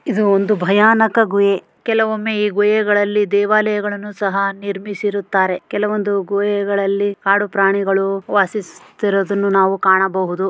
ಇದು ಒಂದು ಭಯಾನಕ ಗುಹೆ ಕೆಲವೊಮ್ಮೆ ಈ ಗುಹೆಗಳಲ್ಲಿ ದೇವಾಲಯಗಳನ್ನು ಸಹ ನಿರ್ಮಿರಿಸುತ್ತಾರೆ. ಕೇಳುವಂದು ಗುಹೆಗಳ್ಳಲ್ಲಿ ಕಾಡು ಪ್ರಾಣಿಗಳು ವಾಸಿಸುತ್ತಿರುವುದು ನಾವು ಕಾಣಬಹುದು.